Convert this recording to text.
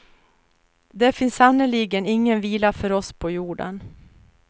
Det finns sannerligen ingen vila för oss på jorden.